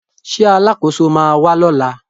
Ṣé Alákóso ma wà lọ́la?